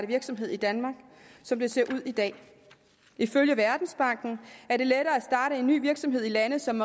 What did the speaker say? virksomhed i danmark som det ser ud i dag ifølge verdensbanken er det lettere at starte en ny virksomhed i lande som